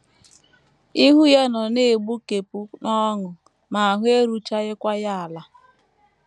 Ihu ya nọ na - egbukepụ n’ọṅụ ma ahụ eruchaghịkwa ya ala.